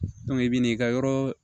i bi n'i ka yɔrɔ